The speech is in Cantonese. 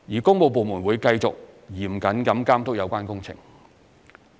工務部門會繼續嚴謹地監督有關工程。